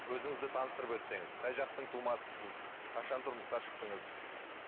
өзіңізді таныстырып өтсеңіз қай жақтың тумасысыз қашан тұрмысқа шықтыңыз